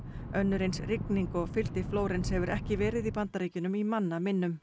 önnur eins rigning og fylgdi Flórens hefur ekki verið í Bandaríkjunum í manna minnum